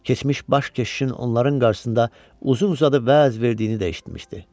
Keçmiş baş keşişin onların qarşısında uzun-uzadı vəz verdiyini də eşitmişdi.